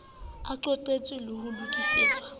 e qotsitswe le ho lokisetswa